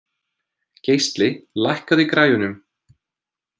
Geisli, lækkaðu í græjunum.